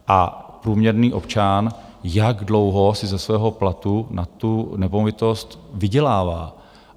A průměrný občan - jak dlouho si ze svého platu na tu nemovitost vydělává!